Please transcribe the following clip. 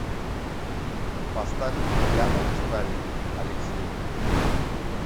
поставь океанами стали алексеев